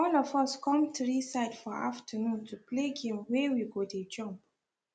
all of us come tree side for afternoon to play game wey we go dey jump